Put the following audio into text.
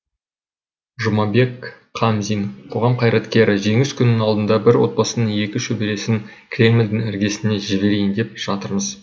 жұмабек қамзин қоғам қайраткері жеңіс күнінің алдында бір отбасының екі шөбересін кремльдің іргесіне жіберейін деп жатырмыз